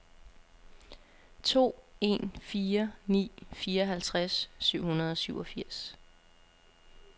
to en fire ni fireoghalvtreds syv hundrede og syvogfirs